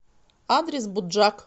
адрес буджак